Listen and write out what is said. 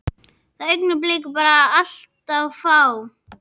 Þau augnablik eru bara allt of fá.